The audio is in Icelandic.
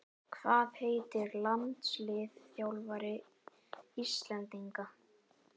Hvað heitir landsliðsþjálfari Íslendinga?